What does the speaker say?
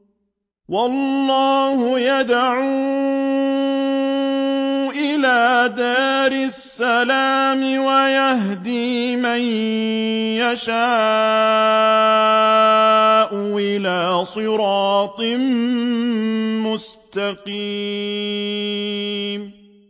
وَاللَّهُ يَدْعُو إِلَىٰ دَارِ السَّلَامِ وَيَهْدِي مَن يَشَاءُ إِلَىٰ صِرَاطٍ مُّسْتَقِيمٍ